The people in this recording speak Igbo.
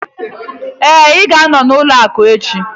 Ee, m ga-anọ n'ụlọ akụ echi